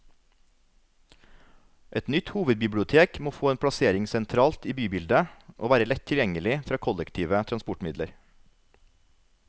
Et nytt hovedbibliotek må få en plassering sentralt i bybildet, og være lett tilgjengelig fra kollektive transportmidler.